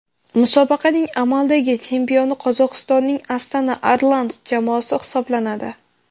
Musobaqaning amaldagi chempioni Qozog‘istonning Astana Arlans jamoasi hisoblanadi.